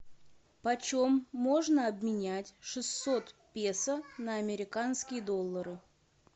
почем можно обменять шестьсот песо на американские доллары